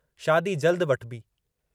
शादी जल्द वठिबी।